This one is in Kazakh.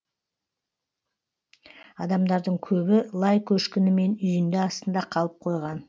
адамдардың көбі лай көшкіні мен үйінді астында қалып қойған